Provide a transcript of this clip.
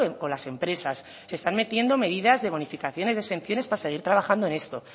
con las empresas están metiendo medidas de bonificaciones y de exenciones para seguir trabajando en esto